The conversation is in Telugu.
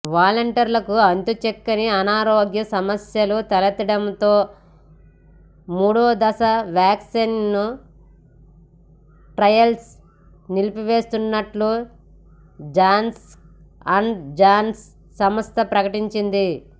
వాలంటీర్కు అంతుచిక్కని అనారోగ్య సమస్యలు తలెత్తడంతో మూడో దశ వ్యాక్సిన్ ట్రయల్స్ నిలిపేస్తున్నట్లు జాన్సన్ అండ్ జాన్సన్ సంస్థ ప్రకటించింది